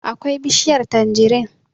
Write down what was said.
akwai bishiyar tanjirin